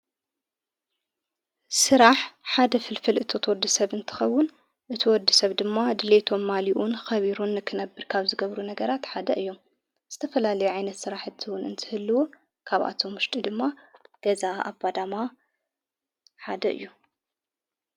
ሥራሕ ሓደ ፍልፍል እቶት ወዲ ሰብ እንትኸውን እቲ ወዲ ሰብ ድማ ድሌቶም ማሊኡን ኸቢሩን ክነብር ካብ ዝገብሩ ነገራት ሓደ እዮም ዝተፈላሊዓይነት ሥራሕ ሕትውን እንትህልዉ ካብኣቶም ሙሽጢ ድማ ገዛ ኣባዳማ ሓደ እዩ::